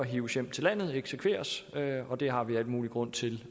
hives hjem til landet eksekveres og det har vi al mulig grund til